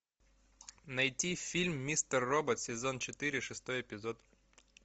найти фильм мистер робот сезон четыре шестой эпизод